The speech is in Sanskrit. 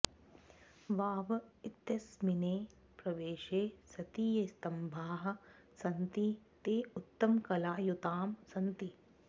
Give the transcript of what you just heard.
वाव इत्यस्मिन् प्रवेशे सति ये स्तम्भाः सन्ति ते उत्तमकलायुताः सन्ति